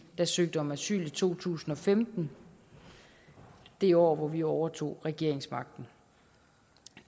der søgte om asyl i to tusind og femten det år hvor vi overtog regeringsmagten